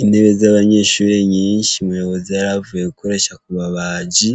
Intebe zabanyeshure nyinshi umuyobozi yaravuye gukoresha kubabaji